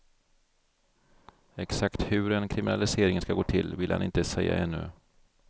Exakt hur en kriminalisering ska gå till ville han inte säga ännu.